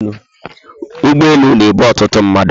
Ụgbọelu na ebu ọtụtụ mmadụ